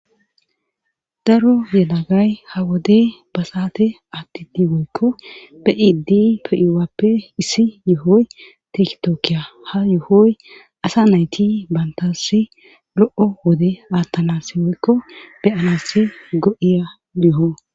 Daro yelagay ha wode ba saate atti diwoykko be7idi pe7iwappe issi yuhoy tektookiya ha yuhoy asa nayti bantassi lo7o wode aattalasi woykko beyanassi go7iya yoho.